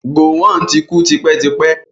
Gọ̀wọn ti kú tipẹ́tipẹ́.